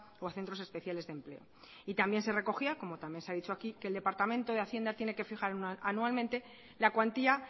o a centros especiales de empleo y también se recogía como también se ha dicho aquí que el departamento de hacienda tiene que fijar anualmente la cuantía